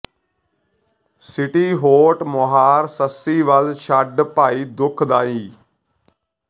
city ਹੌਟ ਮੁਹਾਰ ਸੱਸੀ ਵੱਲ ਛੱਡ ਭਾਈ ਦੁੱਖ ਦਾਈ